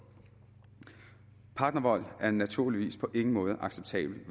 partnervold er naturligvis på ingen måde acceptabelt